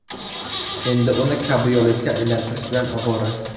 Endi uni kabrioletga aylantirish bilan ovora”.